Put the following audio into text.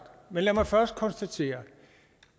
men lad mig først konstatere at